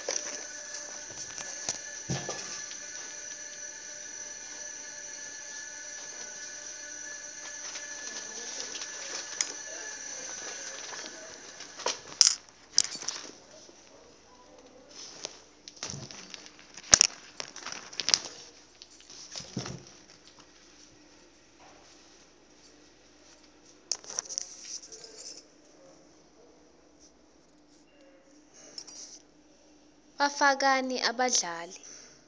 bafakani abadlali